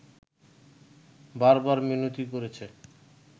বার বার মিনতি করেছে